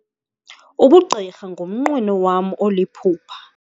Ubugqirha ngumnqweno wam oliphupha.